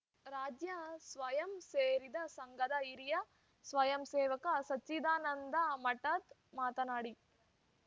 ರಾಜ್ಯಾ ಸ್ವಯಂ ಸೇವ ಸಂಘದ ಹಿರಿಯ ಸ್ವಯಂಸೇವಕ ಸಚ್ಚಿದಾನಂದ ಮಠದ್‌ ಮಾತನಾಡಿ